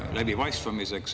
Teie aeg!